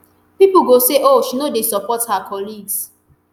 pipo go say ooh she no dey support her colleagues